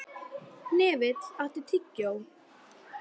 Hnefill, áttu tyggjó?